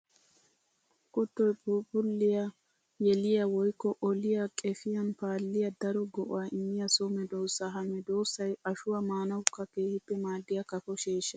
Kuttoy phuuphphuliya yeliya woykko oliya qefiyan paaliya daro go'a immiya so medosa. Ha medosay ashuwa maanawukka keehippe maadiya kafo sheehshsa.